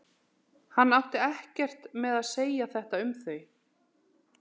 Hann átti ekkert með að segja þetta um þau.